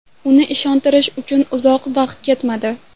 Uni ishontirish uchun uzoq vaqt ketmadi.